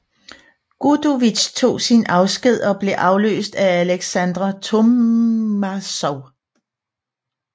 Gudovitj tog sin afsked og blev afløst af Aleksandr Tormasov